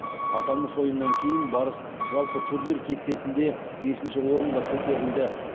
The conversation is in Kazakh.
аталмыш ойыннан кейін барыс жалпы турнир кестесінде бесінші орынға көтерілді